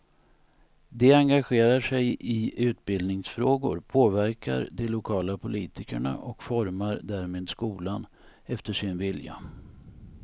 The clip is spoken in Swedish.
De engagerar sig i utbildningsfrågor, påverkar de lokala politikerna och formar därmed skolan efter sin vilja.